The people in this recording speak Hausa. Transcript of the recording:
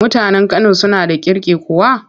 Mutanen Kano suna da kirki kuwa?